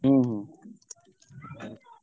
ହୁଁ ହୁଁ।